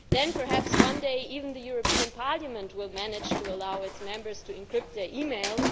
Then, perhaps, one day even the European Parliament will manage to allow its Members to encrypt their emails.